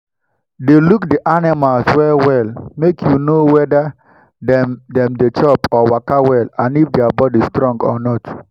dey look the animals well well make you know weda dem dem dey chop or waka well and if their body strong or not